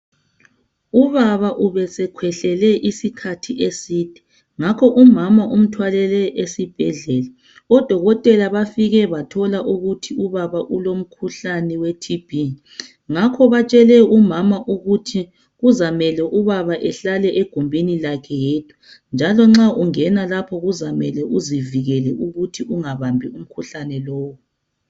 Ubaba ubesekhwehlele isikhathi eside. Ngakho umama umthwalele esibhedlela. Odokotela bafike bathola ukuthi ubaba ulomkhuhlani we TB. Ngakho batshele umama ukuthi kuzamele ubaba ehlale egumbini lakhe yedwa, njalo nxa ungena lapho kuzamele uzivikele ukuthi ungabambi umkhuhlane lowu.